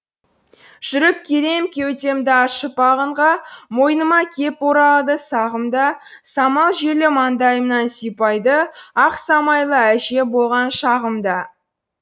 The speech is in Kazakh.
жүріп келем кеудемді ашып ағынға мойныма кеп оралады сағым да самал желі маңдайымнан сипайды ақ самайлы әже болған шағымда